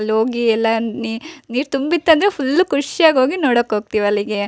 ಅಲ್ಲಿ ಹೋಗಿ ಎಲ್ಲ ನೀರು ತುಂಬಿತ್ತು ಅಂದ್ರೆ ಎಲ್ಲ ಫುಲ್ ಖುಷಿಯಾಗಿ ಹೋಗಿ ನೋಡಕ್ ಹೋಗ್ತಿವಿ ಅಲ್ಲಿಗೆ.